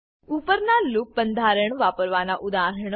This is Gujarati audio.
ઉપરના લૂપ બંધારણ વાપરવાના ઉદાહરણો